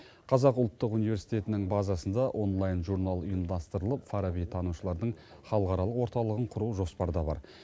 қазақ ұлттық университетінің базасында онлайн журнал ұйымдастырылып фарабитанушылардың халықаралық орталығын құру жоспарда бар